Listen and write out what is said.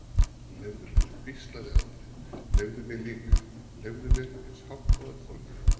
Leyfðu mér, hvíslaði Andri, leyfðu mér líka, leyfðu mér, eins hátt og hann þorði.